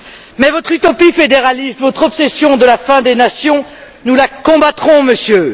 Mais votre utopie fédéraliste, votre obsession de la fin des nations, nous la combattrons, Monsieur.